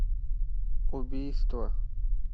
убийство